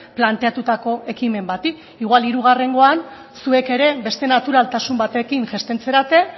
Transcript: planteatutako ekimen bati igual hirugarrengoan zuek ere beste naturaltasun batekin jaisten zarete